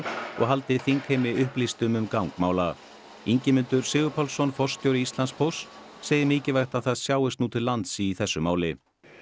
og haldi þingheimi upplýstum um gang mála Ingimundur Sigurpálsson forstjóri Íslandspósts segir mikilvægt að það sjáist nú til lands í þessu máli